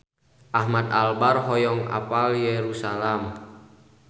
Ahmad Albar hoyong apal Yerusalam